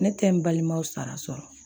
Ne tɛ n balimaw sara sɔrɔ